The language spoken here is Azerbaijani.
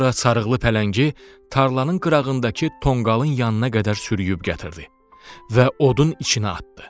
Sonra sarılı pələngi tarlanın qırağındakı tonqalın yanına qədər sürüyüb gətirdi və odun içinə atdı.